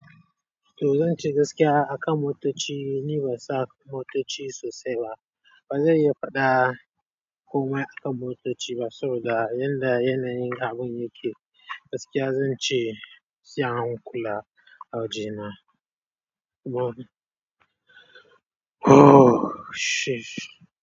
To zan ce gaskiya akan motoci, ni ban san motoci sosai ba. Ba zan iya faɗa komai akan motoci ba, saboda yanda yanayin abun yake. Gaskiya zan ce, sai ahankula waje na.